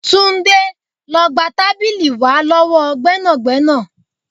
Túndé, lọ gba tábìlì wá lọ́wọ́ gbẹ́nàgbẹ́nà.